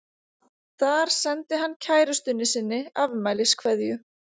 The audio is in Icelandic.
Þar sendi hann kærustunni sinni afmæliskveðju.